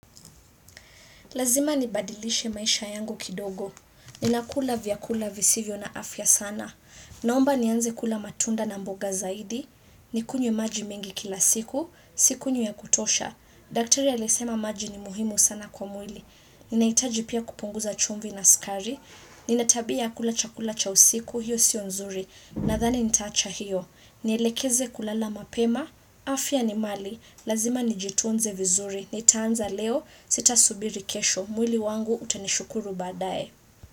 Lazima nibadilishe maisha yangu kidogo. Ninakula vyakula visivyo na afya sana. Naomba nianze kula matunda na mboga zaidi. Nikunye maji mingi kila siku. Sinywi ya kutosha. Daktari ya alisema maji ni muhimu sana kwa mwili. Ninahitaji pia kupunguza chumvi na sukari. Ninatabia ya kula chakula cha usiku. Hiyo sio nzuri. Nadhani nita acha hiyo. Nielekeze kulala mapema. Afya ni mali. Lazima nijitunze vizuri. Nitaanza leo, sitasubirikesho. Mwili wangu utanishukuru badaye.